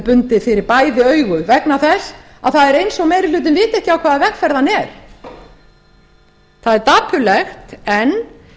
bundið fyrir bæði augu vegna þess að það er eins og meiri hlutinn viti ekki á hvaða vegferð hann er það er dapurlegt en